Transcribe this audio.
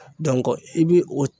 i bi o